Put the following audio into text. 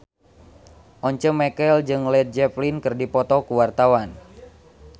Once Mekel jeung Led Zeppelin keur dipoto ku wartawan